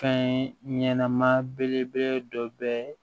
Fɛn ɲɛnɛma belebele dɔ bɛ